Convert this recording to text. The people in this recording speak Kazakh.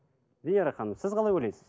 венера ханым сіз қалай ойлайсыз